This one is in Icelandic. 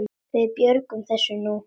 Við björgum þessu nú.